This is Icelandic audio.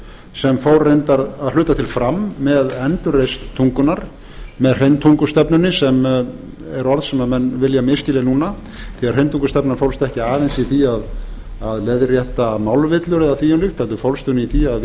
sem fór reyndar að hluta til fram með endurreisn tungunnar með hreintungustefnunni sem er orð sem menn vilja misskilja núna því að hreintungustefnan fólst ekki aðeins í því að leiðrétta málvillur eða því um líkt heldur fólst hún í því að vissu